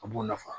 A b'u nafa